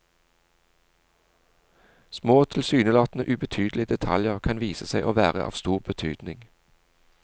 Små, tilsynelatende ubetydelige detaljer kan vise seg å være av stor betydning.